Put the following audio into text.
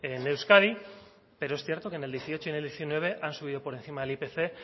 en euskadi pero es cierto que en el dieciocho y en el diecinueve han subido por encima del ipc